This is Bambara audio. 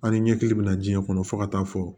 An ni ɲɛkili bɛ na jiɲɛ kɔnɔ fo ka taa fɔ